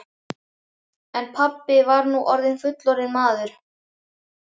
En pabbi var nú fullorðinn maður.